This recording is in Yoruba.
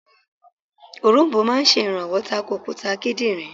Òronbó máa sè rànwọ́ tako òkúta kídìnrín